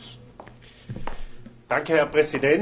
Herr Präsident, geschätzte Kollegen!